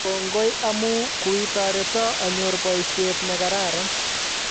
Kongoi amu kwetareto anyor boishet ne karan